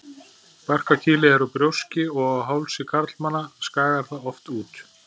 Barkakýlið er úr brjóski og á hálsi karlmanna skagar það oft út.